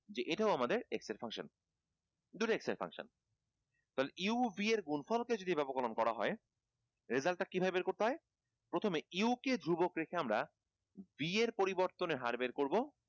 যে এটাও আমাদের x এর function দুইটা x এর function তাহলে u b এর গুনফল কে যদি ব্যাপককরণ করা হয় result টা কিভাবে বের করতে হয় প্রথমে u কে ধ্রুবক রেখে আমরা b এর পরিবর্তনের হার বের করবো